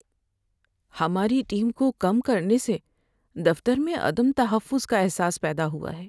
ہماری ٹیم کو کم کرنے سے دفتر میں عدم تحفظ کا احساس پیدا ہوا ہے۔